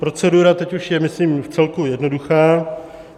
Procedura je už teď, myslím, vcelku jednoduchá.